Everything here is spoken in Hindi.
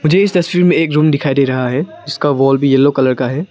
मुझे इस तस्वीर में एक रूम दिखाई दे रहा है जिसका वॉल भी येलो कलर का है।